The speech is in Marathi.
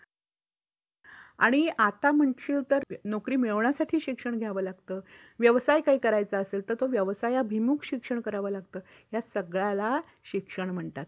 आणि त्यातिरिक्त त्यासाठी अतिरिक्त शुल्क भरावा लागतो.